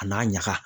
A n'a ɲaga